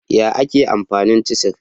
Ya ake amfani cisir?